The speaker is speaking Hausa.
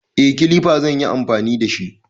Eh, Kilifa zan yi amfani da shi.